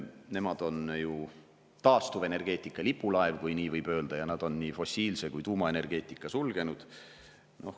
Nemad on aga taastuvenergeetika lipulaev, kui nii võib öelda, nad on nii fossiilse kui ka tuumaenergeetika sulgenud.